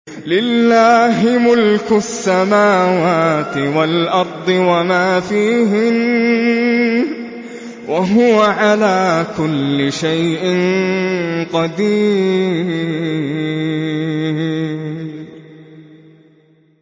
لِلَّهِ مُلْكُ السَّمَاوَاتِ وَالْأَرْضِ وَمَا فِيهِنَّ ۚ وَهُوَ عَلَىٰ كُلِّ شَيْءٍ قَدِيرٌ